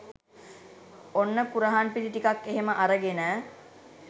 ඔන්න කුරහන් පිටි ටිකක් එහෙම අරගෙන